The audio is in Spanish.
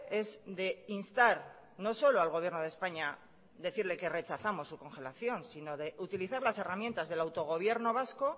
es de instar no solo al gobierno de españa decirle que rechazamos su congelación sino de utilizar las herramientas del autogobierno vasco